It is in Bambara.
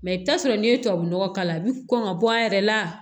Mɛ i bɛ t'a sɔrɔ n'i ye tubabu nɔgɔ k'a la a bɛ kɔn ka bɔ a yɛrɛ la